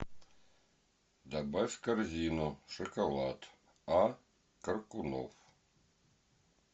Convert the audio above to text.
добавь в корзину шоколад а коркунов